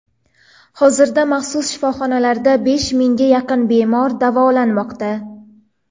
Hozirda maxsus shifoxonalarda besh mingga yaqin bemor davolanmoqda.